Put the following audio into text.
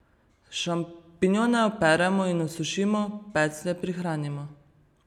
Šampinjone operemo in osušimo, peclje prihranimo.